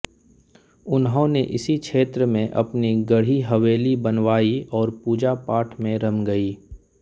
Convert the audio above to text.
उन्होंने इसी क्षेत्र में अपनी गढ़ी हवेली बनवाई और पूजा पाठ में रम गए